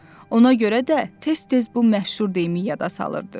Ona görə də tez-tez bu məşhur deyimi yada salırdı.